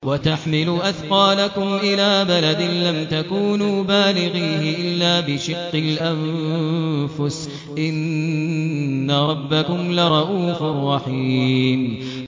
وَتَحْمِلُ أَثْقَالَكُمْ إِلَىٰ بَلَدٍ لَّمْ تَكُونُوا بَالِغِيهِ إِلَّا بِشِقِّ الْأَنفُسِ ۚ إِنَّ رَبَّكُمْ لَرَءُوفٌ رَّحِيمٌ